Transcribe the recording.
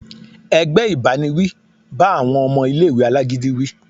ẹgbẹ ìbáníwí bá awọn ọmọ ìlé-ìwé alágídí wí.